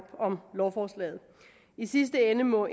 om lovforslaget i sidste ende må